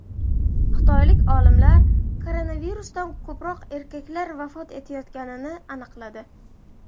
Xitoylik olimlar koronavirusdan ko‘proq erkaklar vafot etayotganini aniqladi.